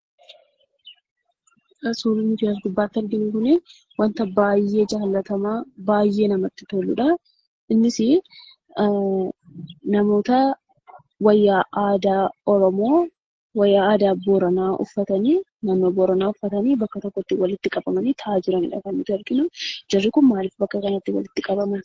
Suurri nuyi as gubbaatti arginu kun, wanta baay'ee jaallatamaa ,baay'ee namatti toludha. innis namoota wayyaa aadaa oromoo, wayyaa aadaa booraanaa uffatanii bakka tokkotti walitti qabamani taa'aa jiranidha. Jarri kun maaliif bakka kanatti walitti qabamani?